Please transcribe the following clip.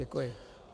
Děkuji.